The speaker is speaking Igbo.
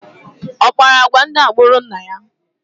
Ọ kpara agwa ndị agbụrụ nna ya?